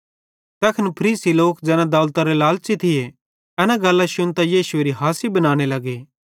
तैखन फरीसी लोक ज़ैना दौलतरे लालच़ी थिये एन गल्लां शुन्तां यीशुएरी हासी बनाने लगे